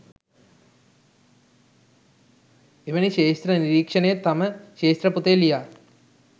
එවැනි ක්ෂේත්‍ර නිරීක්‍ෂණය තම ක්‍ෂේත්‍ර පොතේ ලියා